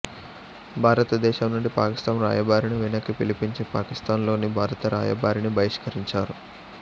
భారతదేశం నుండి పాకిస్తాన్ రాయబారిని వెనక్కి పిలిపించి పాకిస్తాన్లోని భారత రాయబారిని బహిష్కరించారు